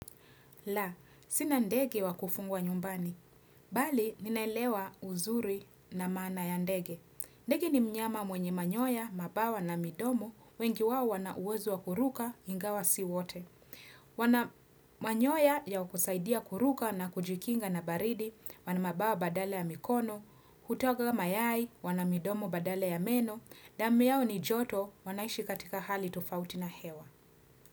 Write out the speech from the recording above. La sina ndege wa kufungwa nyumbani Bali ninaelewa uzuri na maana ya ndege ndege ni mnyama mwenye manyoya mabawa na midomo wengi wao wana uwezo wa kuruka ingawa si wote wana manyoya ya kusaidia kuruka na kujikinga na baridi wana mabawa badala ya mikono hutaga mayai wana midomo badala ya meno damu yao ni joto wanaishi katika hali tofauti na hewa.